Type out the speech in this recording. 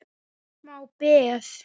Þetta var smá peð!